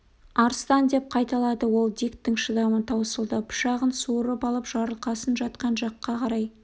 арыстан деп қайталады ол диктің шыдамы таусылды пышағын суырып алып жарылқасын жатқан жаққа қарай